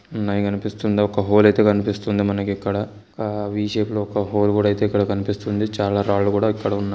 ఉన్నయ్ కనిపిస్తుందా ఒక హోల్ అయితే కనిపిస్తుంది మనకిక్కడ ఆహ్ వి షేప్ లో ఒక హోల్ గుడయితే ఇక్కడ కనిపిస్తుంది చాల రాళ్లుకూడ ఇక్కడ ఉన్న--